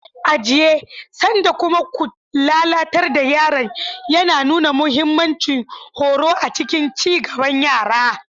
"Ajiye sanda kuma ku lalatar da yaron" yana nuna mahimmancin horo a cikin ci gaban yara.